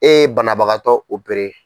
E ye banabagatɔ